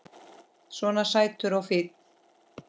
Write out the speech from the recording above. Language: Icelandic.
Svona sætur og fínn!